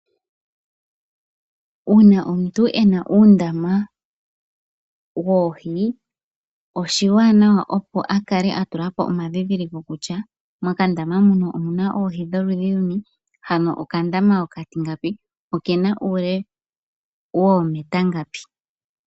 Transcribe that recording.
Uuna omuntu ena uundama woohi oshiwanawa opo akale atulapo omadhidhiliko kutya mokandama hano omuna oohi dholudhi luni hano okandama okatingapi ko okena uule woometa ngapi.